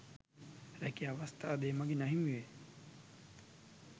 රැකියා අවස්ථාද ඒ මඟින් අහිමි වේ